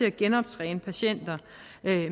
at genoptræne patienter